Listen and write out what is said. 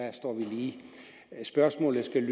lige spørgsmålet skal